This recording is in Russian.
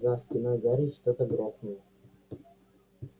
за спиной гарри что-то грохнуло